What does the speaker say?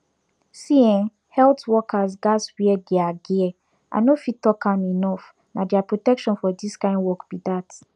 see[um]health workers gats wear their gear i no fit talk am enough na their protection for this kind work be that